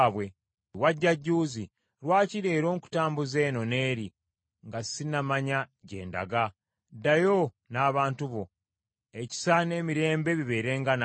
Wajja jjuuzi. Lwaki leero nkutambuza eno n’eri, nga ssinamanya gye ndaga? Ddayo n’abantu bo. Ekisa n’emirembe bibeerenga naawe.”